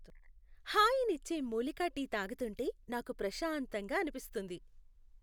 హాయినిచ్చే మూలికా టీ తాగుతుంటే నాకు ప్రశాంతంగా అనిపిస్తుంది.